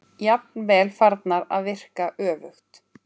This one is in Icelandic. Jafnvel farnar að virka öfugt.